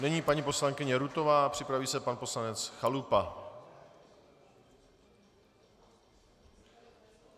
Nyní paní poslankyně Rutová a připraví se pan poslanec Chalupa.